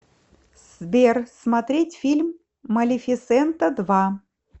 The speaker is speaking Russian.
сбер смотреть фильм малифисента два